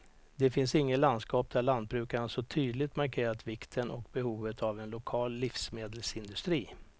Det finns inget landskap där lantbrukarna så tydligt markerat vikten och behovet av en lokal livsmedelsindustri.